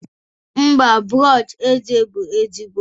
mba, brọsh eze bụ ezigbo